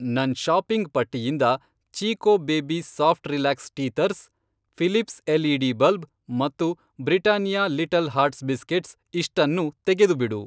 ನನ್ ಷಾಪಿಂಗ್ ಪಟ್ಟಿಯಿಂದ Chicco baby soft relax teethers, Philips LED. Bulb ಮತ್ತು ಬ್ರಿಟಾನಿಯಾ ಲಿಟಲ್ ಹಾರ್ಟ್ಸ್ ಬಿಸ್ಕೆಟ್ಸ್ ಇಷ್ಟನ್ನೂ ತೆಗೆದುಬಿಡು.